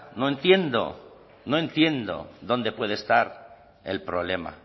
no entiendo no entiendo dónde puede estar el problema